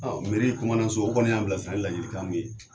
Ɔ meri kumandanso u kɔni y'an bila sira ni ladilikan min ye